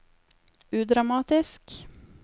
udramatisk